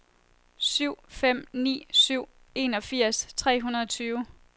syv fem ni syv enogfirs tre hundrede og tyve